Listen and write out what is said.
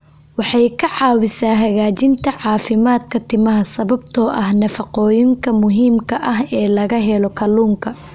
Waxay ka caawisaa hagaajinta caafimaadka timaha sababtoo ah nafaqooyinka muhiimka ah ee laga helo kalluunka.